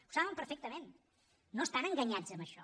ho saben perfectament no estan enganyats en això